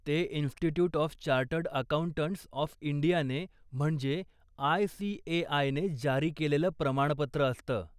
ते institute of chartered accountants of इंडियाने म्हणजे आय.सी.ए.आयने जारी केलेलं प्रमाणपत्र असतं.